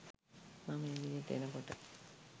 මම එළියට එන කොට